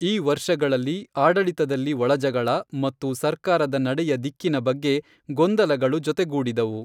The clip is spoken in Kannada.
ಈ ವರ್ಷಗಳಲ್ಲಿ, ಆಡಳಿತದಲ್ಲಿ ಒಳಜಗಳ ಮತ್ತು ಸರ್ಕಾರದ ನಡೆಯ ದಿಕ್ಕಿನ ಬಗ್ಗೆ ಗೊಂದಲಗಳು ಜೊತೆಗೂಡಿದವು.